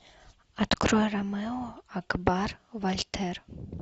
открой ромео акбар вальтер